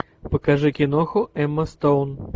покажи киноху эмма стоун